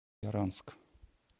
яранск